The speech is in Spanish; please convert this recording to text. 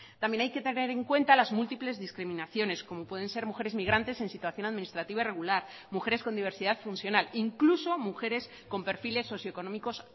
también hay que tener en cuenta las múltiples discriminaciones como pueden ser mujeres migrantes en situación administrativa irregular mujeres con diversidad funcional incluso mujeres con perfiles socioeconómicos